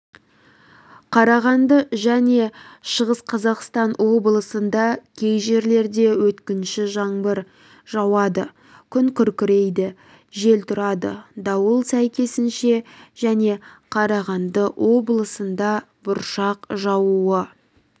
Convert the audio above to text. қарағанды және шығыс қазақстан облыстарында кей жерлерде өткінші жаңбыр жауады күн күркірейді жел тұрады дауыл сәйкесінше және қарағанды облысында бұршақ жаууы